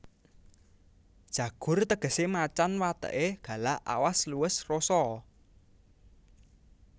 Jagur tegesé macan wateké galak awas luwes rosa